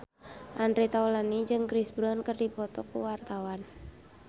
Andre Taulany jeung Chris Brown keur dipoto ku wartawan